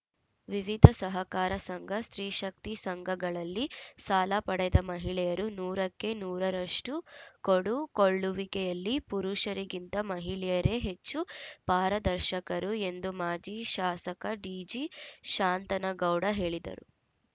ವಿವಿಧ ಸಹಕಾರ ಸಂಘ ಸ್ತ್ರೀಶಕ್ತಿ ಸಂಘಗಳಲ್ಲಿ ಸಾಲ ಪಡೆದ ಮಹಿಳೆಯರು ನೂರಕ್ಕೆ ನೂರರಷ್ಟುಕೊಡು ಕೊಳ್ಳುವಿಕೆಯಲ್ಲಿ ಪುರುಷರಿಗಿಂತ ಮಹಿಳೆಯರೇ ಹೆಚ್ಚು ಪಾರದರ್ಶಕರು ಎಂದು ಮಾಜಿ ಶಾಸಕ ಡಿಜಿ ಶಾಂತನಗೌಡ ಹೇಳಿದರು